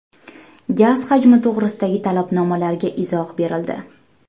Gaz hajmi to‘g‘risidagi talabnomalarga izoh berildi.